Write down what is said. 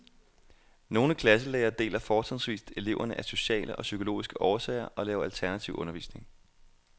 Nogle klasselærere deler fortrinsvist eleverne af sociale og psykologiske årsager og laver alternativ undervisning.